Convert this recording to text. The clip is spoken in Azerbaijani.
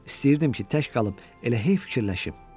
İstəyirdim ki, tək qalıb elə hey fikirləşim.